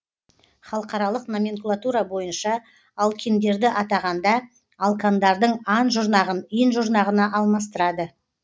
халықаралық номенклатура бойынша алкиндерді атағанда алкандардың ан жұрнағын ин жұрнағына алмастырады